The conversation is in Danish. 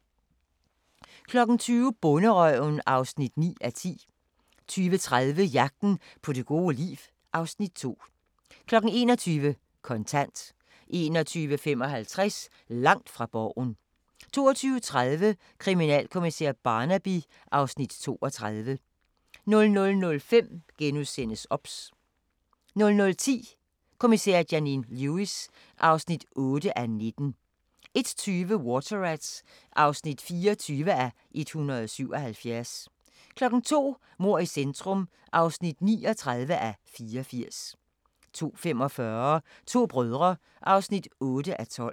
20:00: Bonderøven (9:10) 20:30: Jagten på det gode liv (Afs. 2) 21:00: Kontant 21:55: Langt fra Borgen 22:30: Kriminalkommissær Barnaby (Afs. 32) 00:05: OBS * 00:10: Kommissær Janine Lewis (8:19) 01:20: Water Rats (24:177) 02:00: Mord i centrum (39:84) 02:45: To brødre (8:12)